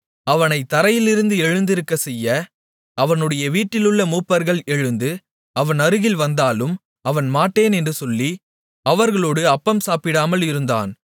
அவனைத் தரையிலிருந்து எழுந்திருக்கச்செய்ய அவனுடைய வீட்டிலுள்ள மூப்பர்கள் எழுந்து அவன் அருகில் வந்தாலும் அவன் மாட்டேன் என்று சொல்லி அவர்களோடு அப்பம் சாப்பிடாமல் இருந்தான்